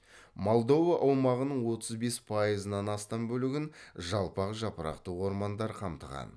молдова аумағының отыз бес пайызынан астам бөлігін жалпақ жапырақты ормандар қамтыған